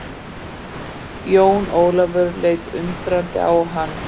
Jón Ólafur leit undrandi á hann.